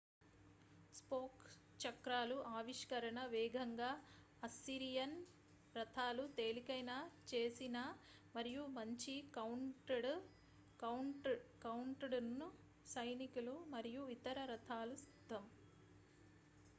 spoke చక్రాలు ఆవిష్కరణ వేగంగా అస్సిరియన్ రథాలు తేలికైన చేసిన మరియు మంచి కౌంట్డౌన్ సైనికులు మరియు ఇతర రథాలు సిద్ధం